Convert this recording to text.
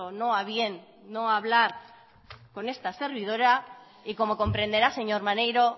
no a bien no hablar con esta servidora y como comprenderá señor maneiro